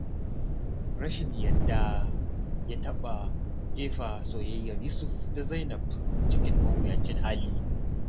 Rashin yarda ya taɓa jefa soyayyar Yusuf da Zainab cikin mawuyacin hali.